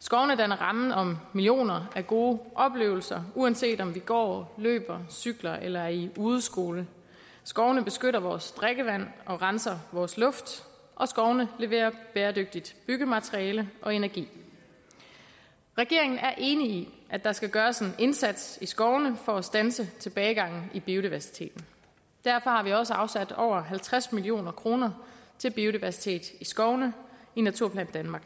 skovene danner rammen om millioner af gode oplevelser uanset om vi går løber cykler eller er i udeskole skovene beskytter vores drikkevand og renser vores luft og skovene leverer bæredygtigt byggemateriale og energi regeringen er enig i at der skal gøres en indsats i skovene for at standse tilbagegangen i biodiversiteten derfor har vi også afsat over halvtreds million kroner til biodiversitet i skovene i naturplan danmark